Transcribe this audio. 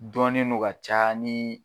Dɔnen don ka ca ni